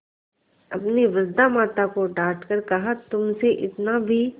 अपनी वृद्धा माता को डॉँट कर कहातुमसे इतना भी